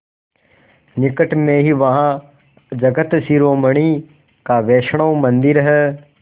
निकट में ही वहाँ जगत शिरोमणि का वैष्णव मंदिर है